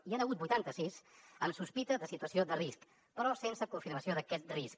n’hi ha hagut vuitanta sis amb sospita de situació de risc però sense confirmació d’aquest risc